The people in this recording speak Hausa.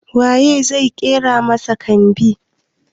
Wa ye zai ƙera masa kambin?